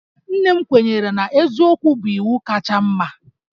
Nne m kwenyere na eziokwu bụ iwu kacha mma